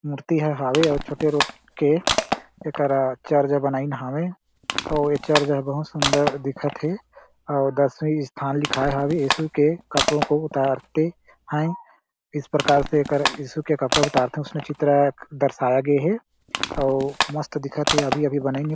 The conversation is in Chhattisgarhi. मूर्ति ह हावे छोटे रोट के एकरा चर्च बनाईंन हावे अउ ए चर्च हे बहुत सुन्दर दिखत हे अउ दसवीं स्थान लिखाय हावे यीशु के कपड़ो को उतारते है इस प्रकार से एकर यीशु के कपड़ो उतारत हे उसमे चित्र दर्शाया गे हे अउ मस्त दिखत हे अभी अभी बनाइन हे।